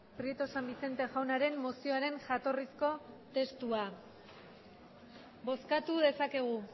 prieto san vicente jaunaren mozioaren jatorrizko testua bozkatu dezakegu